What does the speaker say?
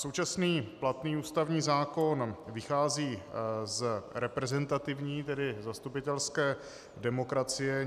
Současný platný ústavní zákon vychází z reprezentativní, tedy zastupitelské demokracie.